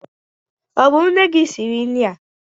Ọ bụ nne gị siri nri a?